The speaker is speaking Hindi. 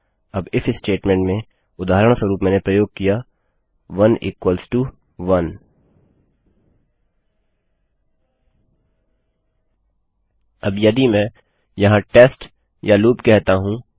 अब इफ स्टेटमेंट में उदाहरणस्वरूप मैंने प्रयोग किया 11 अब यदि मैं यहाँ टेस्ट या लूप कहता हूँ